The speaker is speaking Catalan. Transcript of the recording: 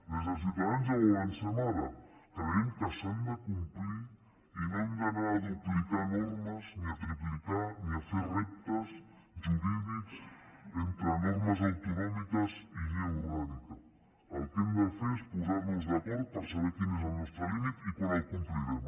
des de ciu tadans ja ho avancem ara creiem que s’han de complir i no hem d’anar a duplicar normes ni a triplicar ni a fer reptes jurídics entre normes autonòmiques i llei orgànica el que hem de fer és posar nos d’acord per saber quin és el nostre límit i quan el complirem